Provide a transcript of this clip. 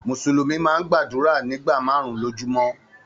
Musulumi máa n gbàdúrà nígbà máàrún-un lojúmọ́.